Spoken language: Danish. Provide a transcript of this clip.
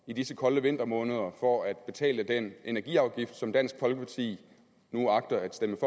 i disse kolde vintermåneder for at betale den energiafgift som dansk folkeparti nu agter at stemme